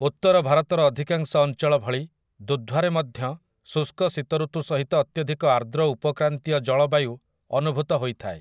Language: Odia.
ଉତ୍ତର ଭାରତର ଅଧିକାଂଶ ଅଞ୍ଚଳ ଭଳି ଦୁଧ୍‌ୱାରେ ମଧ୍ୟ ଶୁଷ୍କ ଶୀତଋତୁ ସହିତ ଅତ୍ୟଧିକ ଆର୍ଦ୍ର ଉପକ୍ରାନ୍ତୀୟ ଜଳବାୟୁ ଅନୁଭୂତ ହୋଇଥାଏ ।